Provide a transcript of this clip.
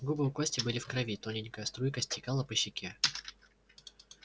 губы у кости были в крови тоненькая струйка стекала по щеке